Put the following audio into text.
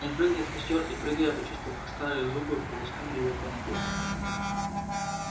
он прыгнул в костёр и прыгая почувствовал как старые зубы полоснули его по ноге